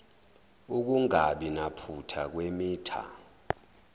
ukungabi naphutha kwemitha